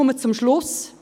Ich komme zum Ende: